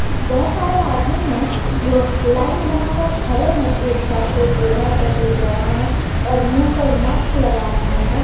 बहुत सारे आदमी ने जो लाइन बनकर खड़े हैं एक साथ कोई बूढ़े हैं तो कोई जवान है और मुंह पर मास्क लगाए हुए हैं।